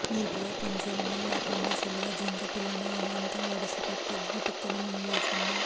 నీటిలో పొంచి ఉన్న ఓ కొండచిలువు జింక పిల్లను అమాంతం ఒడిసి పట్టి గుటుక్కున్న మింగేసింది